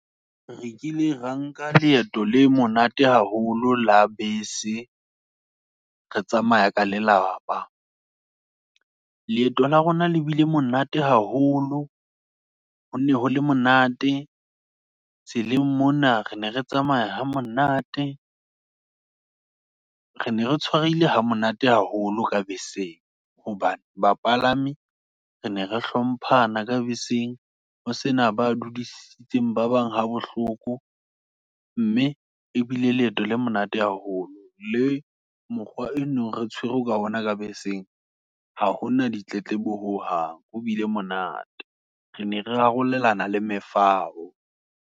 Re kile ra nka leeto le monate haholo, la bese, re tsamaya ka lelapa, leeto la rona le bile monate haholo, hone hole monate. Tseleng mona re ne re tsamaya ha monate, re ne re tshwarehile ha monate haholo, ka beseng, hobane ba palami, re ne re hlomphana ka beseng, ho sena badudisitseng, ba bang ha bohloko. Mme ebile leeto le monate haholo, le mokgwa eno re tshwere ka ona ka beseng, ha hona ditletlebo ho hang, ho bile monate, re ne re arolelana le mefao.